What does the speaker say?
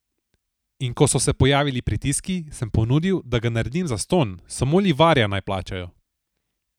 In ko so se pojavili pritiski, sem ponudil, da ga naredim zastonj, samo livarja naj plačajo.